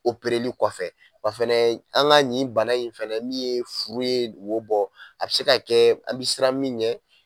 Opereli kɔfɛ wa fɛnɛ an ka nin bana in fana min ye furu ye wo bɔ a bi se ka kɛ an bi siran min ɲɛ